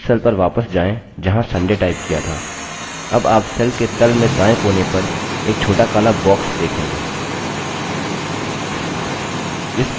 उस cell पर वापस जाएँ जहाँ sunday टाइप किया था अब आप cell के तल में दायें कोने पर एक छोटा काला box देखेंगे